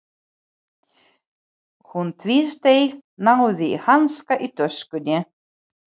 Hún tvísteig, náði í hanska í töskunni.